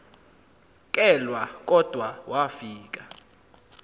kelwa kodwa wafika